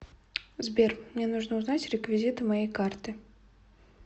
сбер мне нужно узнать реквизиты моей карты